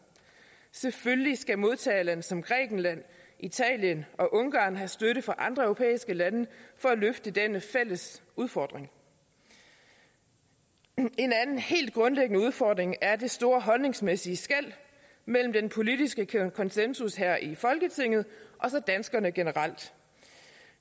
selvfølgelig skal modtagerlande som grækenland italien og ungarn have støtte fra andre europæiske lande for at løfte denne fælles udfordring en anden helt grundlæggende udfordring er det store holdningsmæssige skel mellem den politiske konsensus her i folketinget og så danskerne generelt